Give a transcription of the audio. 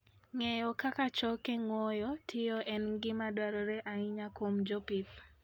Ng'eyo kaka choke ng'owo tiyo en gima dwarore ahinya kuom jopith.